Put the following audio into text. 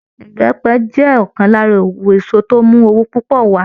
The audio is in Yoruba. Ìbẹ́pẹ jẹ́ ọ̀kan lára òwò èso tó ń mú owó púpọ̀ wà á